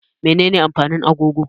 Menene amfanin agogo?